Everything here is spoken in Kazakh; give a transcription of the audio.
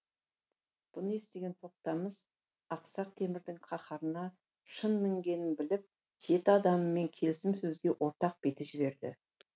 бұны естіген тоқтамыс ақсақ темірдің қаһарына шын мінгенін біліп жеті адамымен келісім сөзге ортақ биді жіберді